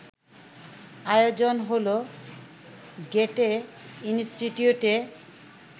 আয়োজন হলো গ্যেটে ইনস্টিটিউটে